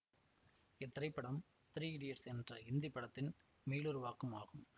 இத்திரைப்படம் three idiots என்ற ஹிந்தி படத்தின் மீளுருவாக்கம் ஆகும்